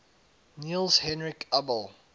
niels henrik abel